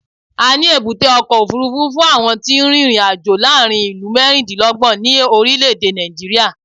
A ní èbúté ọkọ̀ òfuurufú fún àwọn tí ń rin ìrìn-àjò láàárín ìlú mẹ́rìndínlọ́gbọ̀n ní orílẹ̀-èdè Nàìjíríà.